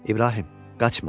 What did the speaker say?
İbrahim, qaçma.